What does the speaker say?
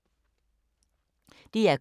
DR K